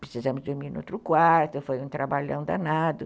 Precisamos dormir no outro quarto, foi um trabalhão danado.